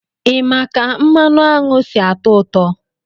Ị ma ka mmanụ aṅụ si-atọ ụtọ?